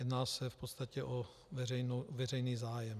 Jedná se v podstatě o veřejný zájem.